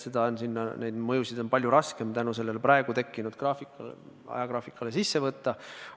Reformi mõju on palju raskem selle praegu tekkinud ajagraafiku tõttu arvesse võtta.